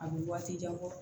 A bɛ waati jan bɔ